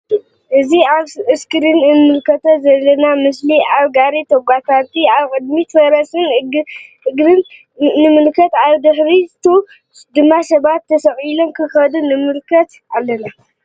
እዚ አብ እስክሪን እንምልከቶ ዘለና ምስሊ አብ ጋሪ ተጎታቲ አብ ቅድሚት ፈረስን አድግን ንምልከት አብቲ ናይ ድሕሪቱ ድማ ሰባት ተሰቂሎም ክከዱ ንምልከት አለና::